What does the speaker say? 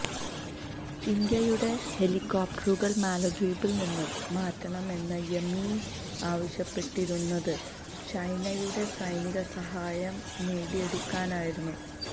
ഇന്ത്യയുടെ ഹെലികോപ്റ്ററുകള് മാലദ്വീപില്നിന്ന് മാറ്റണമെന്ന് യമീന് ആവശ്യപ്പെട്ടിരുന്നത് ചൈനയുടെ സൈനികസഹായം നേടിയെടുക്കാനായിരുന്നു